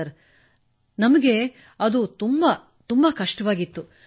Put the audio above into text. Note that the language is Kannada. ಸರ್ ನಮಗೆ ಅದು ನಮಗೆ ಬಹಳ ಕಷ್ಟವಾಗಿತ್ತು